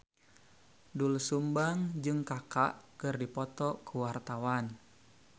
Doel Sumbang jeung Kaka keur dipoto ku wartawan